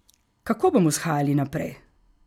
Kako bomo shajali naprej?